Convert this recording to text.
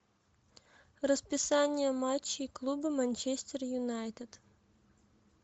расписание матчей клуба манчестер юнайтед